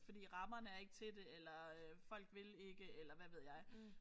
Fordi rammerne er ikke til det eller folk vil ikke eller hvad ved jeg